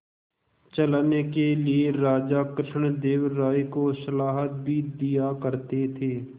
चलाने के लिए राजा कृष्णदेव राय को सलाह भी दिया करते थे